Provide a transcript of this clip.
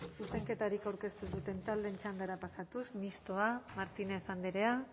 zuzenketarik aurkeztu ez duten taldeen txandara pasatuz mistoa martínez andrea